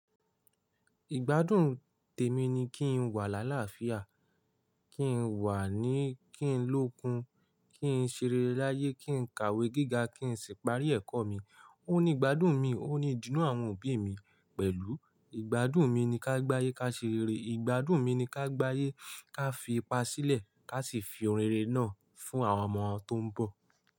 Ìgbádùn tèmi ni kí n wà láàláàfíà, kí n wà ní, kí n lókun, kí n ṣerére láyé, kí n kàwé gíga, kí n sì parí ẹ̀kọ́ mi. Ó ní ìgbádùn mi, ó ní ìdùnnú àwọn òbí mi pẹ̀lú. Ìgbádùn mi ni ká gbáyé ká ṣe rere, ìgbádùn mi ni ká gbáyé ká fi ipá sílẹ̀, ká sì fi ohun rere náà fún àwọn ọmọ tó ń bọ̀